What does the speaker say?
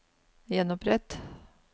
gjenopprett